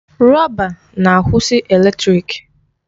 Rọba na-akwụsị eletrịk.